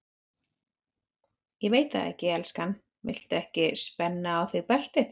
Ég veit það ekki, elskan, viltu ekki spenna á þig beltið?